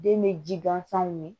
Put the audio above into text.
Den be ji gansanw ye